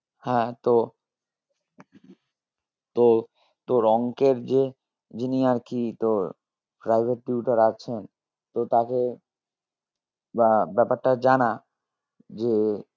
হ্যাঁ তো তো তোর অঙ্কের যে যিনি আর কি তোর private tutor আছেন তো তাকে বা ব্যাপারটা জানা যে